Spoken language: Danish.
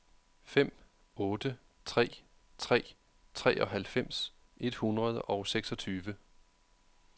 fem otte tre tre treoghalvfems et hundrede og seksogtyve